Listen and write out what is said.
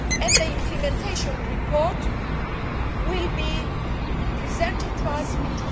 The implementation report will be presented to us in